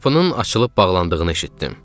Qapının açılıb bağlandığını eşitdim.